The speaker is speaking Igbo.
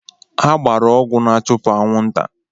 Ha gbara ọgwụ n'achupụ anwụnta.